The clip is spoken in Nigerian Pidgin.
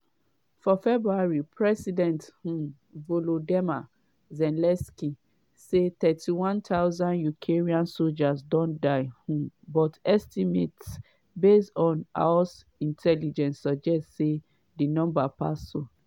for february president um volodymyr zelensky say 31000 ukrainian soldiers don die um but estimates based on us intelligence suggest say di number pass so.